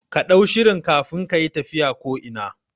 Kaɗau shirin kafin kayi tafiya ko ina